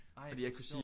Ej hvor sjovt